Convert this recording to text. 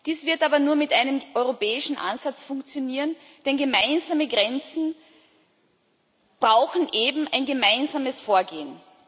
Dies wird aber nur mit einem europäischen Ansatz funktionieren, denn gemeinsame Grenzen brauchen eben ein gemeinsames Vorgehen.